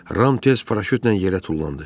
Ram tez paraşütlə yerə tullandı.